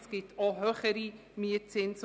Es gibt auch höhere Mietzinse: